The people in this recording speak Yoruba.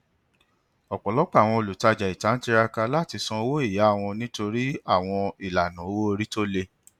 ọpọlọpọ àwọn olutaja ita n tiraka lati sọ owó ìyà wọn nitori àwọn ìlànà owó orí tóle